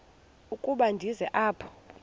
ukuba ndize apha